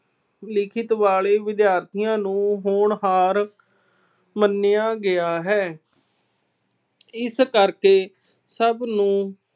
ਲਿਖਤ ਵਾਲੇ ਵਿਦਿਆਰਥੀਆਂ ਨੂੰ ਹੋਣਹਾਰ ਮੰਨਿਆ ਗਿਆ ਹੈ। ਇਸ ਕਰਕੇ ਸਭ ਨੂੰ